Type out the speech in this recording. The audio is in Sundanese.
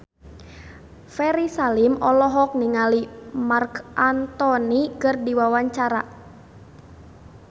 Ferry Salim olohok ningali Marc Anthony keur diwawancara